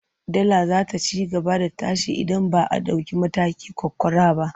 Dala za ta ci gaba da tashi idan ba a ɗauki mataki ƙwaƙƙwara ba.